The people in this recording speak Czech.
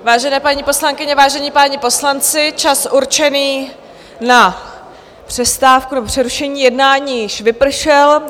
Vážené paní poslankyně, vážení páni poslanci, čas určený na přestávku nebo přerušení jednání již vypršel.